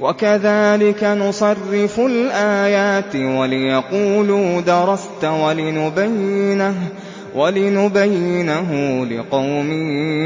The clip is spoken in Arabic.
وَكَذَٰلِكَ نُصَرِّفُ الْآيَاتِ وَلِيَقُولُوا دَرَسْتَ وَلِنُبَيِّنَهُ لِقَوْمٍ